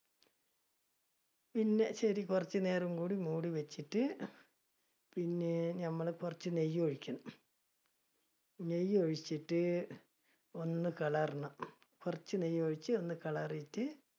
പിന്നെ ശരി കുറച്ചുനേരം കൂടി മൂടി വെച്ചിട്ട്, പിന്നെ ഞമ്മൾ കുറച്ച് നെയ്യ് ഒഴിക്കണം. നെയ്യ് ഒഴിച്ചിട്ട് ഒന്ന് , കുറച്ച് നെയ്യ് ഒഴിച്ച് ഒന്ന്